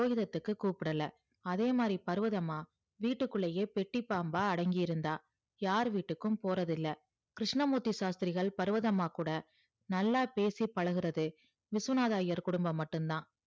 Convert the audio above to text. போரகிரத்துக்கு கூப்டல அதே மாறி பருவதம்மா வீட்டுகுள்ளே பேட்டி பம்பா அடங்கி கிடந்தா யார் வீட்டுக்கு போறது இல்ல கிருஸ்னமூர்த்தி சாஸ்த்திரிகள் பருவதம்மா கூட நல்லா பேசி பழகிறதேவிஸ்வநாதர் ஐயர் குடும்பம் மட்டும் தான்